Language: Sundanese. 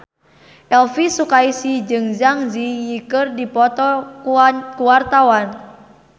Elvi Sukaesih jeung Zang Zi Yi keur dipoto ku wartawan